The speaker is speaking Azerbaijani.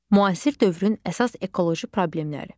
Müasir dövrün əsas ekoloji problemləri.